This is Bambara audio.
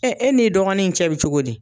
e n'i dɔgɔnin in cɛ bɛ cogo di.